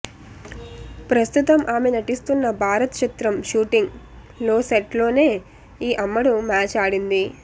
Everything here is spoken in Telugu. ప్రస్తుతం ఆమె నటిస్తోన్న భారత్ చిత్రం షూటింగ్ లో సెట్ లోనే ఈ అమ్మడు మ్యాచ్ ఆడింది